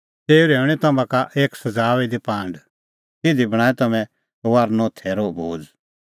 तेऊ रहैऊंणीं तम्हां का एक सज़ाऊई दी पांड तिधी बणांऐं तम्हैं फसहे थैरो भोज़